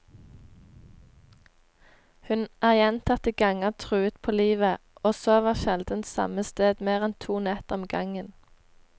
Hun er gjentatte ganger truet på livet, og sover sjelden samme sted mer enn to netter om gangen.